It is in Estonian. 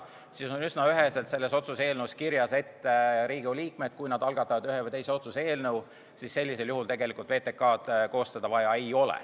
Seepärast on üsna üheselt selles otsuse eelnõus kirjas, et kui Riigikogu liikmed algatavad ühe või teise otsuse eelnõu, siis VTK-d ei ole vaja koostada.